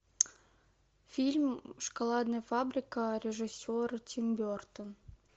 фильм шоколадная фабрика режиссер тим бертон